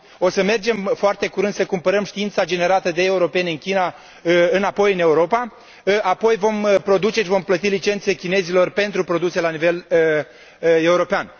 O să mergem foarte curând să cumpărăm știința generată de europeni în China înapoi în Europa, apoi vom produce și vom plăti licențe chinezilor pentru produse la nivel european.